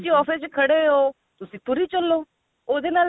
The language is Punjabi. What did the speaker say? office ਚ ਖੜੇ ਓ ਤੁਸੀਂ ਤੁਰੀ ਚੱਲੋ ਉਹਦੇ ਨਾਲ